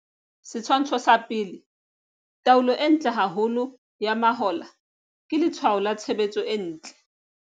Setshwantsho sa 1, taolo e ntle haholo ya mahola ke letshwao la tshebetso e ntle.